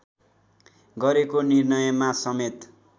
गरेको निर्णयमा समेत